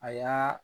A y'a